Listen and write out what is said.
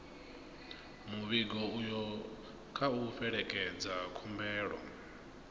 muvhigo uyo kha u fhelekedze khumbelo